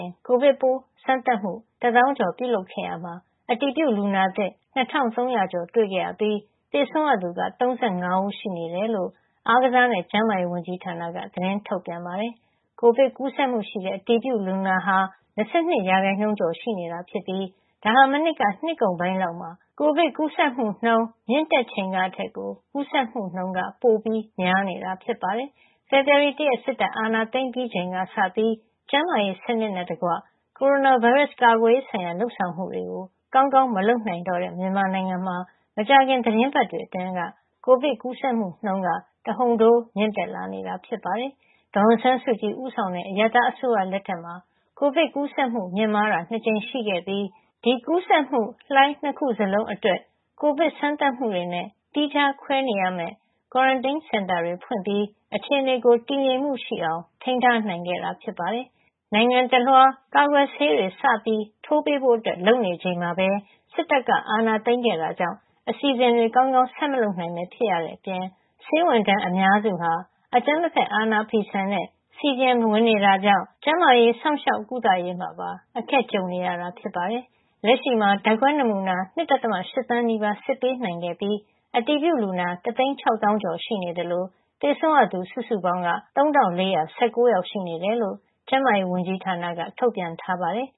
င် ကိုဗစ်ပိုးစမ်းသပ်မှု ၁၀,၀၀၀ ကျော် ပြုလုပ်ခဲ့ရာမှာ အတည်ပြုလူနာသစ် ၂,၃၀၀ ကျော် တွေ့ခဲ့ရပြီး သေဆုံးရသူက ၃၅ ဦး ရှိနေတယ်လို့ အားကစားနဲ့ ကျန်းမာရေးဝန်ကြီးဌာနက သတင်းထုတ်ပြန်ပါတယ်။ ကိုဗစ်ကူးစက်မှုရှိတဲ့ အတည်ပြုလူနာဟာ ၂၂ ရာခိုင်နှုန်းကျော် ရှိနေတာဖြစ်ပြီး ဒါဟာ မနှစ်က နှစ်ကုန်ပိုင်းလောက် ကိုဗစ်ကူးစက်မှုနှုန်း မြင့်တက်ချိန်ကထက်ကို ကူးစက်မှုနှုန်း ပိုများနေတာ ဖြစ်ပါတယ်။ ဖေဖော်ဝါရီ ၁ ရက် စစ်တပ်အာဏာသိမ်းပြီးချိန်ကစပြီး ကျန်းမာရေးစနစ်နဲ့တကွ ကိုရိုနာဗိုင်းရပ်စ် ကာကွယ်ရေးဆိုင်ရာ လုပ်ဆောင်မှုတွေ ကောင်းကောင်း မလုပ်နိုင်တော့တဲ့ မြန်မာနိုင်ငံမှာ မကြာခင် သီတင်းပတ်တွေအတွင်း ကိုဗစ်ကူးစက်မှုနှုန်းက တဟုန်ထိုး မြင့်တက်လာနေတာ ဖြစ်ပါတယ်။ ဒေါ်အောင်ဆန်းစုကြည် ဦးဆောင်တဲ့ အရပ်သားအစိုးရ လက်ထက်မှာ ကိုဗစ်ကူးစက်မှု မြင့်မားတာ ၂ ကြိမ်ရှိခဲ့ပြီး ဒီကူးစက်မှုလှိုင်း ၂ ခုစလုံးအတွက် ကိုဗစ်စမ်းသပ်မှုတွေနဲ့ သီးခြားခွဲနေရမယ့် ကွာရန်တင်းစင်တာတွေ ဖွင့်ပြီး အခြေအနေ တည်ငြိမ်မှုရှိအောင် ထိန်းထားနိုင်ခဲ့တာ ဖြစ်ပါတယ်။ နိုင်ငံတလွှား ကာကွယ်ဆေးတွေ စထိုးပေးဖို့ လုပ်နေချိန်မှာပဲ စစ်တပ်က အာဏာသိမ်းခဲ့တာကြောင့် အစီအစဉ်တွေ ကောင်းကောင်း ဆက်မလုပ်နိုင်ဘဲ ဖြစ်ခဲ့ရတဲ့အပြင် ဆေးဝန်ထမ်းအများစုက အကြမ်းမဖက် အာဏာဖီဆန်တဲ့ CDM ဝင်နေကြတာကြောင့် ကျန်းမာရေး စောင့်ရှောက်ကုသရေးမှာပါ အခက်ကြုံနေရတာပါ။ လက်ရှိမှာ ဓာတ်ခွဲနမူနာ ၂.၈ သန်းနီးပါး စစ်ပေးနိုင်ခဲ့ပြီး အတည်ပြုလူနာ ၁၆၀,၀၀၀ ကျော် ရှိနေသလို သေဆုံးရသူ စုစုပေါင်းက ၃,၄၁၉ ယောက် ရှိနေတယ်လို့ ကျန်းမာရေးဝန်ကြီးဌာနက ထုတ်ပြန်ထားပါတယ်